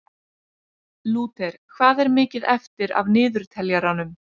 Lúter, hvað er mikið eftir af niðurteljaranum?